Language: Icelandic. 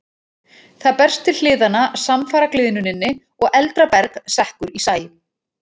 Það berst til hliðanna samfara gliðnuninni og eldra berg sekkur í sæ.